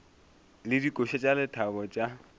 le dikoša tša lethabo tša